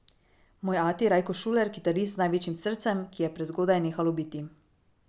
Moj ati Rajko Šuler, kitarist z največjim srcem, ki je prezgodaj nehalo biti.